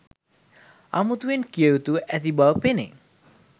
අමුතුවෙන් කිව යුතුව ඇති බව පෙනේ.